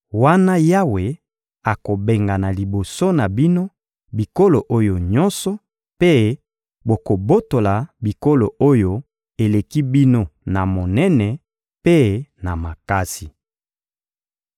wana Yawe akobengana liboso na bino bikolo oyo nyonso, mpe bokobotola bikolo oyo eleki bino na monene mpe na makasi.